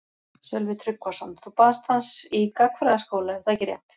Sölvi Tryggvason: Þú baðst hans í gagnfræðaskóla er það ekki rétt?